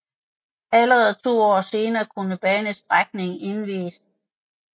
Allerede to år senere kunne banestrækningen indvies